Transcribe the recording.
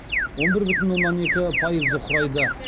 он бір бүтін оннан екі пайызды құрайды